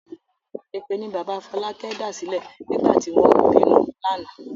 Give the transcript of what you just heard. Èpè ni bàbá Fọlákẹ́ dàsílẹ̀ nígbà tí wọ́n ń bínú lánàá.